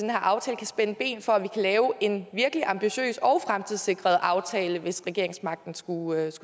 her aftale kan spænde ben for at vi kan lave en virkelig ambitiøs og fremtidssikret aftale hvis regeringsmagten skulle